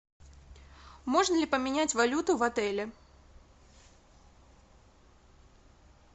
можно ли поменять валюту в отеле